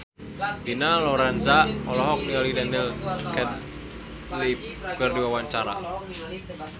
Dina Lorenza olohok ningali Daniel Radcliffe keur diwawancara